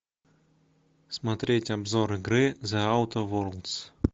смотреть обзор игры зе аутер ворлдс